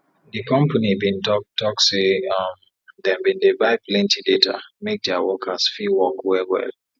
di company bin talk talk say um dem bin dey buy plenti data make their workers fit work well well